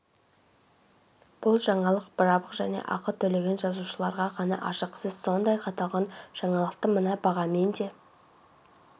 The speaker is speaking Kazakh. бұл жаңалық жабық және ақы төлеген жазылушыларға ғана ашық сіз сондай-ақ аталған жаңалықты мына бағамен де